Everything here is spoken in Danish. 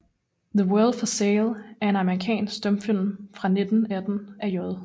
The World for Sale er en amerikansk stumfilm fra 1918 af J